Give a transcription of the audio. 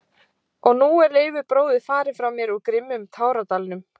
Og nú er Leifur bróðir farinn frá mér úr grimmum táradalnum.